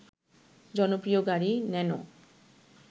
জনপ্রিয় গাড়ি ন্যানো